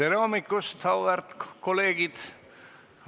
Tere hommikust, auväärt kolleegid!